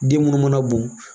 Den munnu mana bɔn